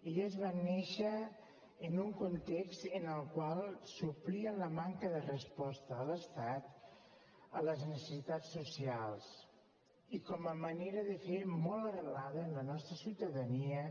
elles van néixer en un context en el qual suplien la manca de resposta de l’estat a les necessitats socials i com a manera de fer molt arrelada en la nostra ciutadania